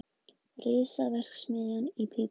Risaverksmiðja í pípunum